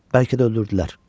Bəlkə də öldürdülər.